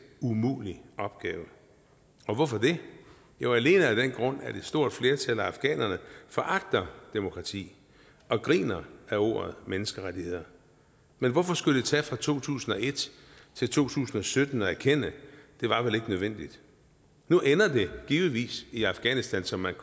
umulig opgave og hvorfor det jo alene af den grund at et stort flertal af afghanerne foragter demokrati og griner ad ordet menneskerettigheder men hvorfor skulle det tage fra to tusind og et til to tusind og sytten erkende at det var vel ikke nødvendigt nu ender det givetvis i afghanistan som man